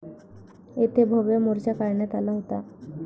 येथे भव्य मोर्चा काढण्यात आला होता.